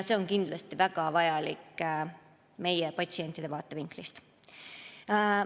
See on kindlasti väga vajalik meie patsientide vaatevinklist.